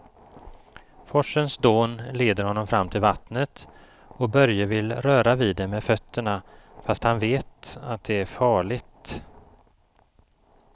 Forsens dån leder honom fram till vattnet och Börje vill röra vid det med fötterna, fast han vet att det är farligt.